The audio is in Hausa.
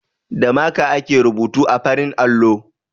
Da maka ake rubutu a farar allo.